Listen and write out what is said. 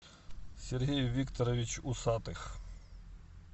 сергей викторович усатых